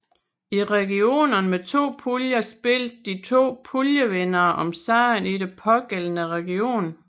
I regionerne med to puljer spillede de to puljevindere om sejren i den pågældende region